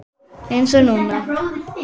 Eins og núna.